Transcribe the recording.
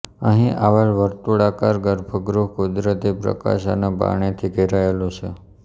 અહીં આવેલ વર્તુળાકાર ગર્ભગૃહ કુદરતી પ્રકાશ અને પાણીથી ઘેરાયેલું છે